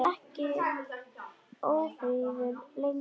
Hann er ekki ófríður lengur.